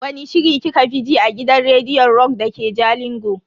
Wani shiri kika fi ji a gidan rediyon rock dake jalingo?